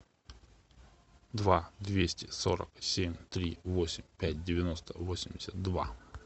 два двести сорок семь три восемь пять девяносто восемьдесят два